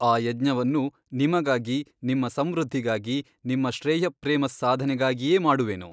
ಆ ಯಜ್ಞವನ್ನು ನಿಮಗಾಗಿ ನಿಮ್ಮ ಸಂವೃದ್ಧಿಗಾಗಿ ನಿಮ್ಮ ಶ್ರೇಯಃಪ್ರೇಮಸ್ಸಾಧನೆಗಾಗಿಯೇ ಮಾಡುವೆನು.